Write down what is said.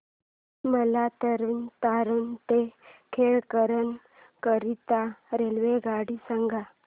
मला तरण तारण ते खेमकरन करीता रेल्वेगाड्या सांगा